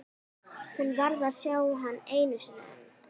Hún varð að sjá hann einu sinni enn.